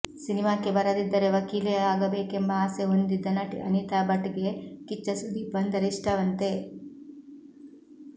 ಸಿನಿಮಾಕ್ಕೆ ಬರದಿದ್ದರೆ ವಕೀಲೆಯಾಗಬೇಕೆಂಬ ಆಸೆ ಹೊಂದಿದ್ದ ನಟಿ ಅನಿತಾ ಭಟ್ಗೆ ಕಿಚ್ಚ ಸುದೀಪ್ ಅಂದರೆ ಇಷ್ಟವಂತೆ